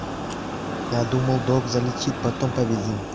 я думал долг залетит потом победим